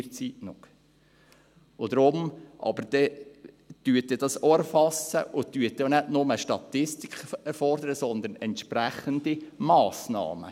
Deshalb: Erfassen Sie das auch, und fordern Sie nicht bloss Statistiken, sondern entsprechende Massnahmen.